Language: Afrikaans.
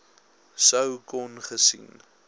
sou kon gesien